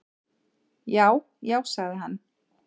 """Já, já sagði hann."""